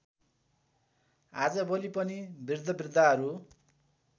आजभोलि पनि बृद्धबृद्धाहरू